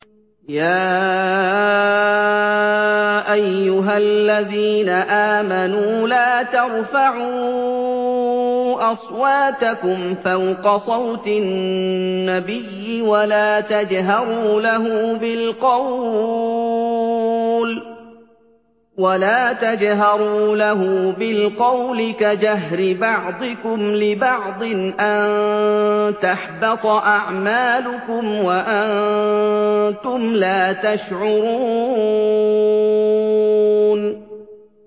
يَا أَيُّهَا الَّذِينَ آمَنُوا لَا تَرْفَعُوا أَصْوَاتَكُمْ فَوْقَ صَوْتِ النَّبِيِّ وَلَا تَجْهَرُوا لَهُ بِالْقَوْلِ كَجَهْرِ بَعْضِكُمْ لِبَعْضٍ أَن تَحْبَطَ أَعْمَالُكُمْ وَأَنتُمْ لَا تَشْعُرُونَ